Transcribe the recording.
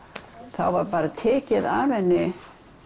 þá var bara tekið af henni